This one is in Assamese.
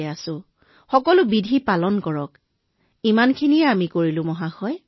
আপুনি প্ৰটকল অনুসৰণ কৰক কেৱল আমি তেওঁলোকৰ সৈতে এইখিনি কৰিব পাৰিলো মহোদয়